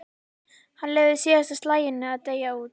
Hann leyfði síðasta slaginu að deyja út.